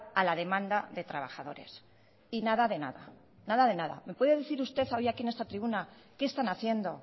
a la demanda de trabajadores y nada de nada nada de nada me puede decir usted hoy aquí en esta tribuna qué están haciendo